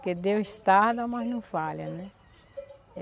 Porque Deus tarda, mas não falha, né?